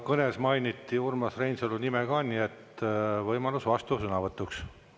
Kõnes mainiti Urmas Reinsalu nime, nii et tal on võimalus vastusõnavõtuks.